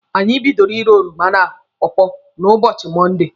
Anyị bidoro írē oroma na pọọpọọ na ụbọchị Mọnde.